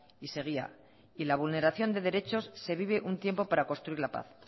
y seguía y la vulneración de derechos se vive un tiempo para construir la paz